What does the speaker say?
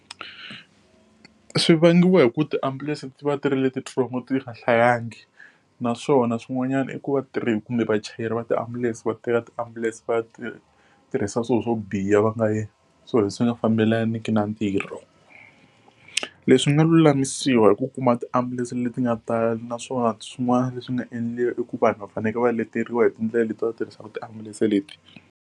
Swi vangiwa hi ku va tiambulense ti va tirhile tintsongo ti nga hlayelangi naswona swin'wanyana i ku vatirhi kumbe vachayeri va tiambulense va teka tiambulense va ya ti tirhisa swilo swo biha va nga endli swilo leswi nga fambelaneki na ntirho. Leswi swi nga lulamisiwa hi ku kuma tiambulense leti nga tala naswona swin'wana leswi nga endliwa i ku vanhu va fanekele va leteriwa hi tindlela leti va tirhisaka tiambulense leti.